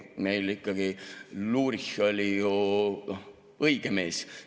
Meil ikkagi Lurich oli ju õige mees.